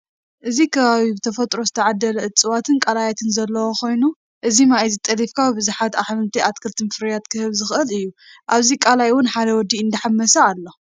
እዚ ከባቢ ብተፈጥሮ ዝተዓደለ እፅዋትን ቃላትን ዘለዎ ኮይኑ እዚ ማይ እዚ ጠሊፍካ ብዝሓት ኣሕምልት ኣትክልትን ፍርያት ክህብ ዝክእል እዩ። ኣብዚ ቃላይ እውን ሓደ ወዲ እንዳሓመሰ ኣሎ።